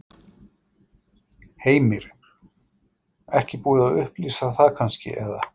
Heimir: Ekki búið að upplýsa það kannski, eða?